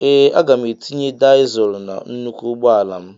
Ee aga m etinye dịzul na nnụkwụ ụgbọala m